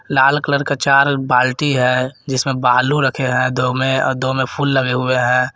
लाल colour का चार बाल्टी है जिसमें बालू रखे हैं दो में दो में फूल लगे हुए हैं।